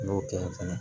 N'o tɛ fɛnɛ